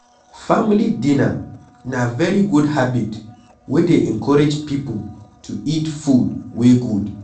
Family dinner na very good habit wey dey encourage pipo to eat food wey good